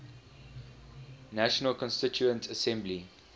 national constituent assembly